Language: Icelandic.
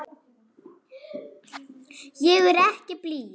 Ég er ekki blíð.